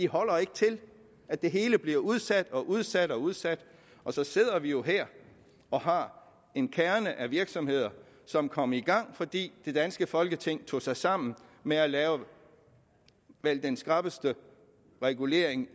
holder ikke til at det hele bliver udsat og udsat og udsat så sidder vi jo her og har en kerne af virksomheder som kom i gang fordi det danske folketing i tog sig sammen med at lave den vel skrappeste regulering